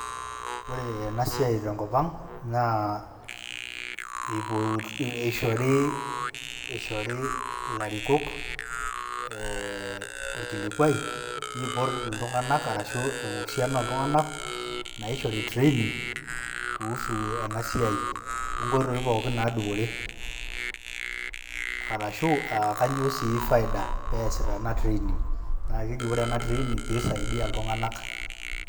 Ore enasiai tenkop ang', naa eishori, ishori ilarikok eh orkilikwai, nipot iltung'anak arashu esiana oltung'anak, naishori training, kuhusu enasiai, onkoitoi pookin nadupore. Arashu akanyoo si faida pesita ena training. Na keji ore ena training, pisaidia iltung'anak.